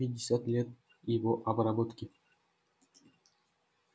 пятьдесят лет его обработки